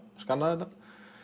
skanna þetta